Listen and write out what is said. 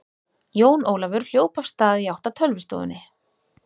Jón Ólafur hljóp af stað í átt að tölvustofunni.